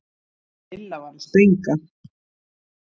Lilla var að springa.